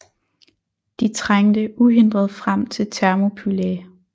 De trængte uhindret frem til Thermopylæ